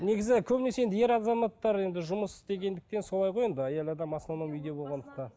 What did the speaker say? негізі көбінесе енді ер азаматтар енді жұмыс істегендіктен солай ғой енді әйел адам в основном үйде болғандықтан